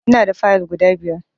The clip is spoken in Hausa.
Ina da Fayill guda biyar